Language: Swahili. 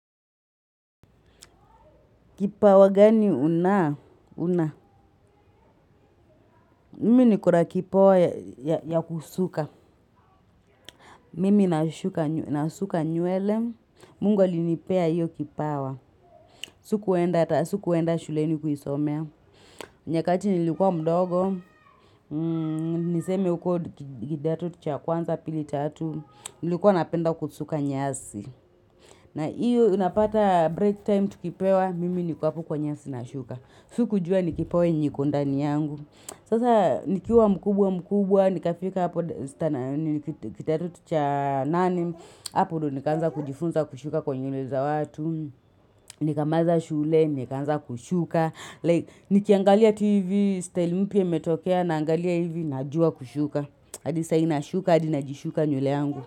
Kipawa gani una una mimi niko na kipawa ya kusuka Mimi nasuka nywele Mungu alinipea hiyo kipawa Sikuenda ata sikuenda shuleni kuisomea nyakati nilikuwa mdogo Niseme huko kidato cha kwanza pili tatu nilikuwa napenda kusuka nyasi na hiyo unapata break time tukipewa Mimi niko hapo kwa nyasi nashuka. Sikujua ni kipawa yenye iko ndani yangu Sasa nikiwa mkubwa mkubwa nikafika hapo standard kidato cha nane hapo ndio nikaanza kujifunza kushuka nywele za watu nikamaliza shule nikaanza kushuka like nikiangalia tu hivi style mpya imetokea naangalia hivi najua kushuka hadi saa hii nashuka hadi najishuka nywele yangu.